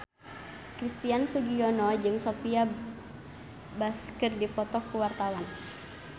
Christian Sugiono jeung Sophia Bush keur dipoto ku wartawan